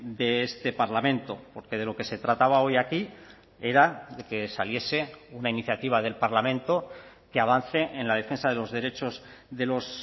de este parlamento porque de lo que se trataba hoy aquí era de que saliese una iniciativa del parlamento que avance en la defensa de los derechos de los